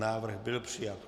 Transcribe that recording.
Návrh byl přijat.